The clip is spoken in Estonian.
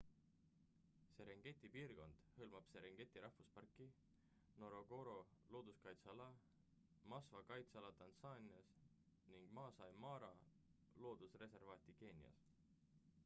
serengeti piirkond hõlmab serengeti rahvusparki ngorongoro looduskaitseala ja maswa kaitseala tansaanias ning maasai mara loodusreservaati keenias